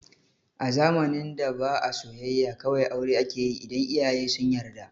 A zamanin da ba a soyayya, kawai aure akeyi idan iyaye sun yarda